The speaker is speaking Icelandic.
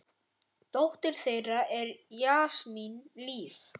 Dóttir þeirra er Jasmín Líf.